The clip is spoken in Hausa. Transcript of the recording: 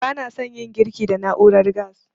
Ba na san yin girki da na'urar gas